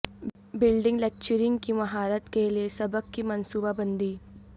building lecturing کی مہارت کے لئے سبق کی منصوبہ بندی